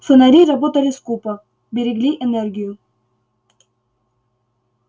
фонари работали скупо берегли энергию